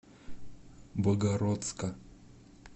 богородска